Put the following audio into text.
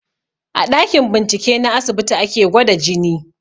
A ɗakin bincike na asibiti ake gwada jini